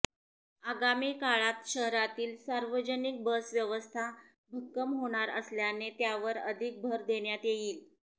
अगामी काळात शहरातील सार्वजनिक बस व्यवस्था भक्कम होणार असल्याने त्यावर अधिक भर देण्यात येईल